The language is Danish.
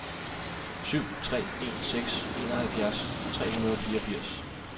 syv tre en seks enoghalvtreds tre hundrede og fireogfirs